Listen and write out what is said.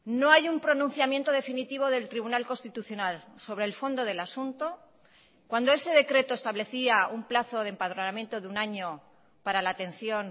no hay un pronunciamiento definitivo del tribunal constitucional sobre el fondo del asunto cuando ese decreto establecía un plazo de empadronamiento de un año para la atención